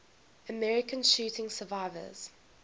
american shooting survivors